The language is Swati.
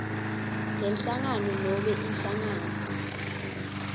lenhlangano nobe inhlangano